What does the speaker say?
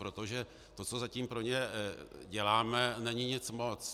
Protože to, co zatím pro ně děláme, není nic moc.